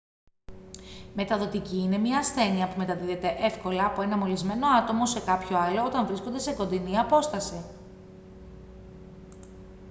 μεταδοτική είναι μια ασθένεια που μεταδίδεται εύκολα από ένα μολυσμένο άτομο σε κάποιο άλλο όταν βρίσκονται σε κοντινή απόσταση